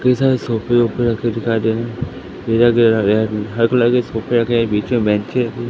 कई सारे सोफे ओफे रखे दिखाई दे रहे हैं भेजा गया गया है हरे कलर के सोफे रखे गए बीच में बेचें रखी--